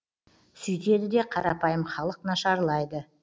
сүйтеді да қарапайым халық нашарлайды